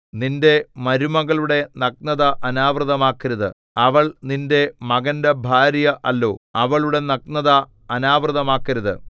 നിന്റെ മരുമകളുടെ നഗ്നത അനാവൃതമാക്കരുത് അവൾ നിന്റെ മകന്റെ ഭാര്യ അല്ലോ അവളുടെ നഗ്നത അനാവൃതമാക്കരുത്